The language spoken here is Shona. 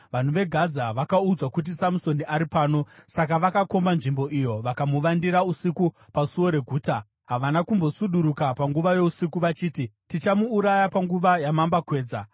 Vanhu veGaza vakaudzwa kuti, “Samusoni ari pano!” Saka vakakomba nzvimbo iyo vakamuvandira usiku pasuo reguta. Havana kumbosuduruka panguva yousiku vachiti, “Tichamuuraya panguva yamambakwedza.”